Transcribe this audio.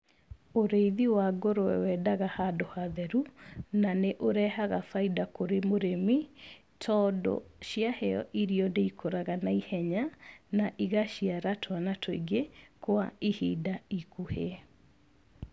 Ũrĩithi wa ngũrũwe wendaga handũ hatheru na nĩ ũrehaga bainda kũrĩ mũrĩmi, tondũ ciaheo irio nĩ ikũraga naihenya, na igaciara twana tũingĩ kwa ihinda ikuhĩ.